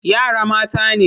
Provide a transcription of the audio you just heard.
Yara mata ne.